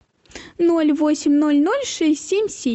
ноль восемь ноль ноль шесть семь семь